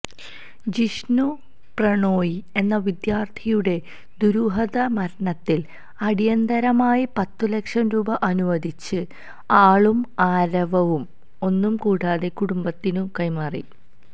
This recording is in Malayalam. ജിഷ്ണു പ്രണോയി എന്ന വിദ്യാർത്ഥിയുടെ ദുരൂഹമരണത്തിൽ അടിയന്തരമായി പത്തുലക്ഷം രൂപ അനുവദിച്ച് ആളും ആരവവും ഒന്നും കൂടാതെ കുടുംബത്തിനു കൈമാറി